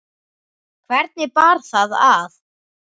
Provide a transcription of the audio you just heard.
Hvernig bar það að?